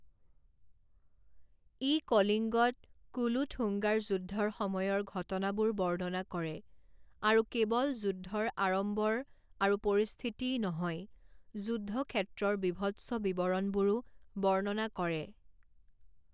ই কলিঙ্গত কুলোথুঙ্গাৰ যুদ্ধৰ সময়ৰ ঘটনাবোৰ বৰ্ণনা কৰে আৰু কেৱল যুদ্ধৰ আড়ম্বৰ আৰু পৰিস্থিতিই নহয়, যুদ্ধক্ষেত্ৰৰ বীভৎস বিৱৰণবোৰো বৰ্ণনা কৰে।